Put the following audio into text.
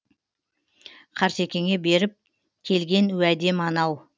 қартекеңе беріп келген уәдем анау